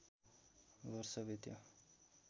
वर्ष बित्यो